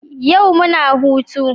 Yau muna hutu